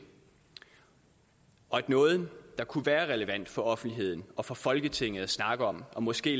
og at noget der kunne være relevant for offentligheden og for folketinget at snakke om og måske